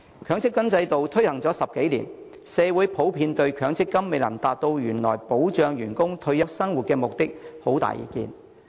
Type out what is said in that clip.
強積金制度已推行10多年，社會普遍對強積金未能達到原來保障僱員退休生活的目的，有很大意見。